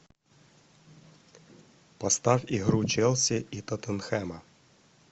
поставь игру челси и тоттенхэма